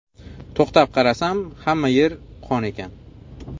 To‘xtab qarasam hamma yer qon ekan.